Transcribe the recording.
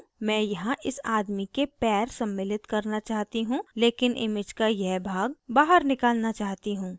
मैं यहाँ इस आदमी के पैर सम्मिलित करना चाहती हूँ लेकिन image का यह भाग बाहर निकालना चाहती हूँ